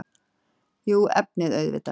Jú, efnið auðvitað.